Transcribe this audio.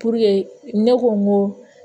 ne ko n ko